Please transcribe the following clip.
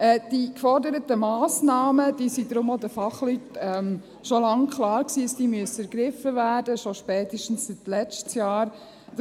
Dass die geforderten Massnahmen ergriffen werden müssen, das war deshalb auch den Fachleuten seit Langem, spätestens seit letztem Jahr klar.